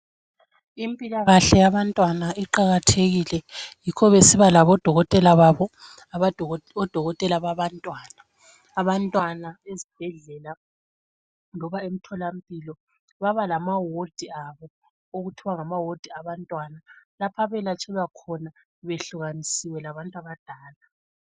Impila kahle yabantwana iqakathekile yikho besiba labo dokotela babo odokotela babantwana, abantwana ezibhedlela loba emthola mpilo baba lama wodi abo okuthiwa ngama wodi wabantwana lapho abalatshelwa khona behlukanisiwe labadala.